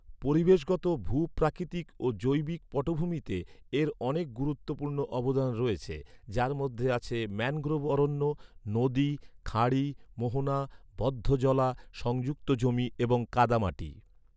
পরিবেশগত, ভূ প্রাকৃতিক ও জৈবিক পটভূমিতে এর অনেক গুরুত্বপূর্ণ অবদান রয়েছে যার মধ্যে আছে ম্যানগ্রোভ অরণ্য, নদী, খাঁড়ি, মোহনা, বদ্ধ জলা, সংযুক্ত জমি এবং কাদামাটি।